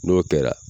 N'o kɛra